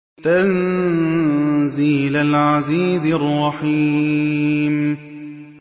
تَنزِيلَ الْعَزِيزِ الرَّحِيمِ